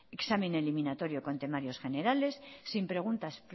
examen eliminatoria con temarios generales sin preguntas